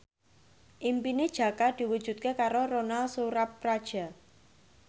impine Jaka diwujudke karo Ronal Surapradja